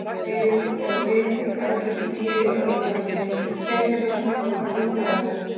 Ef ég er bitin af villtu dýri á Íslandi gæti ég þá smitast af hundaæði?